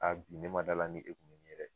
A bi ne ma d'ala ni e kun be n ɲe dɛ